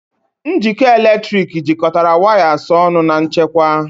Njikọ eletrik jikọtara wires ọnụ na nchekwa.